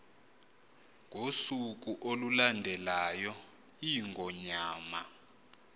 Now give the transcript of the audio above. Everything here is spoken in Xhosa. ngosuku olulandelayo iingonyama